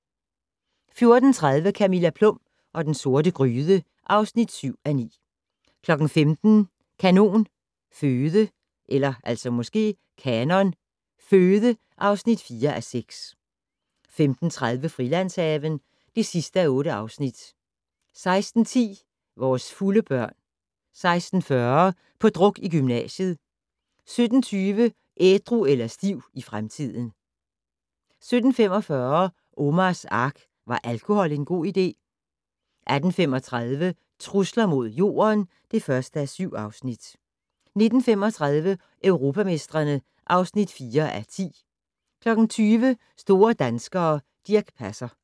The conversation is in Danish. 14:30: Camilla Plum og den sorte gryde (7:9) 15:00: Kanon Føde (4:6) 15:30: Frilandshaven (8:8) 16:10: Vores fulde børn 16:40: På druk i gymnasiet 17:20: Ædru eller stiv i fremtiden 17:45: Omars Ark - Var alkohol en god idé? 18:35: Trusler mod Jorden (1:7) 19:35: Europamestrene (4:10) 20:00: Store danskere - Dirch Passer